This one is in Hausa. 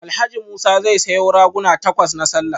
Alhaji Musa zai sayo raguna takwas na sallah